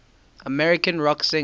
american rock singers